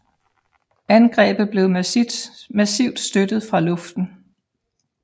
Angrebet blev massivt støttet fra luften